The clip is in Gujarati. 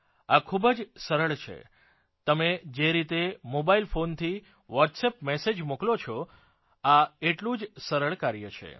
આ ખૂબ જ સરળ છે તમે જે રીતે મોબાઇલ ફોનથી વોટ્સઅપ મેસેજ મોકલો છો આ એટલું જ સરળ કાર્ય છે